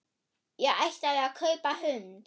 Ég ætlaði að kaupa hund.